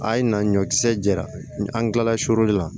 A ye na ɲɔkisɛ jira an tilala surun na